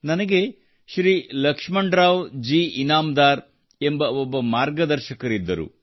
ನನಗೆ ಶ್ರೀ ಲಕ್ಷ್ಮಣರಾವ್ ಜಿ ಇನಾಮದಾರ್ ಎಂಬ ಒಬ್ಬ ಮಾರ್ಗದರ್ಶಕರಿದ್ದರು